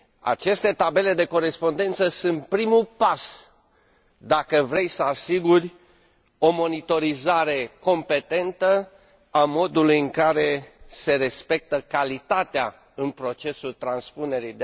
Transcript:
Aceste tabele de corespondență sunt primul pas pentru a asigura o monitorizare competentă a modului în care se respectă calitatea în procesul transpunerii.